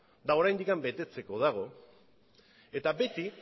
eta oraindik betetzeko dago eta beti